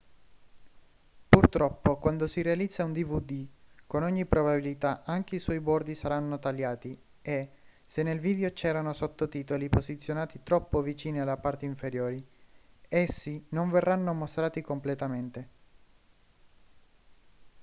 purtroppo quando si realizza un dvd con ogni probabilità anche i suoi bordi saranno tagliati e se nel video c'erano sottotitoli posizionati troppo vicini alla parte inferiore essi non verranno mostrati completamente